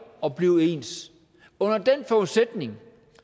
og blive ens under den forudsætning